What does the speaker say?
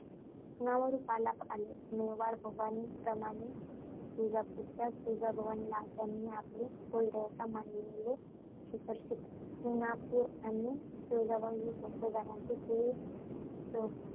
नावारूपाला आले. मेवाडच्या भवानीप्रमाणे तुळजापूरच्या तुळजाभवानीला त्यांनी आपली कुलदेवता मानल्याने शिखर शिंगणापूर आणि तुळजाभवानी ही भोसले घराण्याची कुल अं